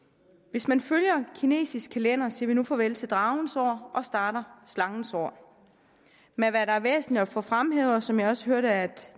hvis man følger den kinesiske kalender siger vi nu farvel til dragens år og starter slangens år men hvad der er væsentligt at få fremhævet og som jeg også hørte